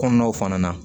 Kɔnɔnaw fana na